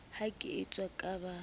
ha ke eso ka ba